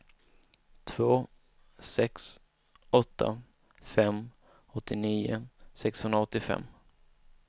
två sex åtta fem åttionio sexhundraåttiofem